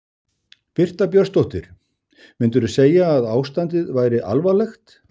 Birta Björnsdóttir: Myndirðu segja að ástandið væri alvarlegt?